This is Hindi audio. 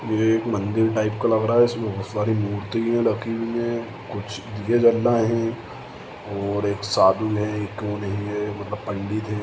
ये एक मंदिर टाईप का लग रहा है इसमें बहोत सारी मूर्तियां रखी हुई हैं कुछ दिए जलाए है और एक साधु है एक नही है मतलब पंडित है ।